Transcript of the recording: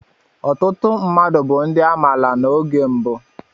Ọtụtụ mmadụ bu ndi amaala n'oge mbụ.